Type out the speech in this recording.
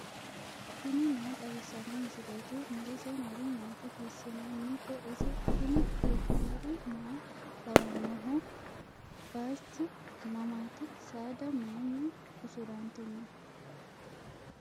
tini maa xawissanno misileeti ? mulese noori maati ? hiissinannite ise ? tini kultannori maa lawannoho? Bayiichchu mamaatti? Saada mayiinni uusurantinno?